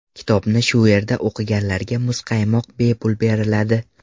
Kitobni shu yerda o‘qiganlarga muzqaymoq bepul beriladi.